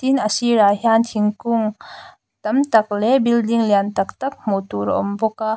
tin a sirah hian thingkung tam tak leh building lian tak tak hmuh tur a awm bawk a.